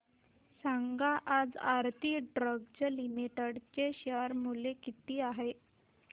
सांगा आज Aarti Drugs Limited चे शेअर मूल्य किती आहे